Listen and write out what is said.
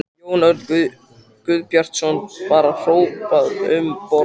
Jón Örn Guðbjartsson: Var hrópað um borð?